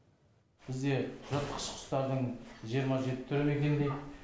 бізде жыртқыш құстардың жиырма жеті түрі мекендейді